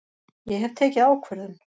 Ég hef tekið ákvörðun!